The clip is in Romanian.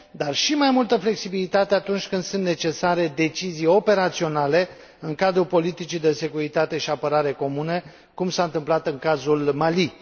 dar și mai multă flexibilitate atunci când sunt necesare decizii operaționale în cadrul politicii de securitate și apărare comune, cum s a întâmplat în cazul Mali.